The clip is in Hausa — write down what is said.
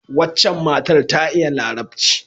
Waccan matar ta iya Larabci.